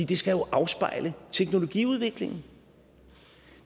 det skal jo afspejle teknologiudviklingen